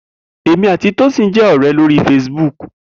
Emi ati Tosin je ore lori Facebook.